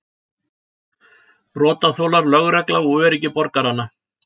Brotaþolar, lögreglan og öryggi borgaranna.